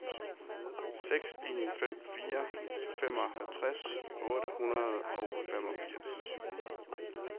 seks en fem fire femoghalvtreds otte hundrede og femogfirs